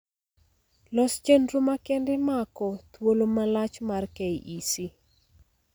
Los chendro makende mako thuolo malach mar KEC